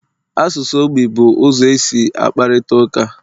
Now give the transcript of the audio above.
Asụsụ ogbi bụ ụzọ e si akparịta ụka